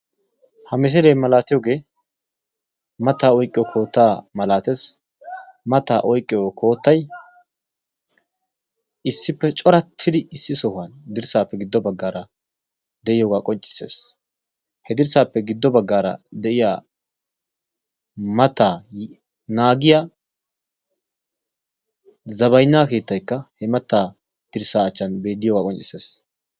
Ha misilee malatitooge mattaa oyqqiyo koottaa malatees. Mattaa oyqqiyo koottay issippe corattidi issi sohuwan dirssappe giddo baggara de'iyooha qonccissees.he dirssappe giddo baggaara de'iyaa mattaa naagiyaa zabbaynna keettaykka he mattaa dirssa achchan bettiyooga qonccissees.